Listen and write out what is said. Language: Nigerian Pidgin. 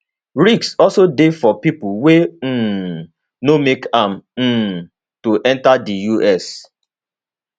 risks also dey for pipo wey um no make am um to enta di us